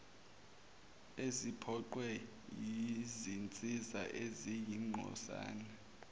eziphoqwe yizinsiza eziyingcosana